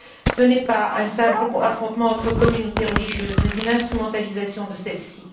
Ce n'est pas un simple affrontement entre communautés religieuses mais une instrumentalisation de celles ci.